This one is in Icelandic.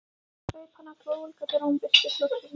Greip hana glóðvolga þegar hún birtist loksins.